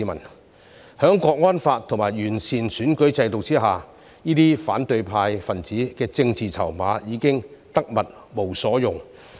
在《香港國安法》和完善選舉制度下，這些反對派分子的政治籌碼已經得物無所用。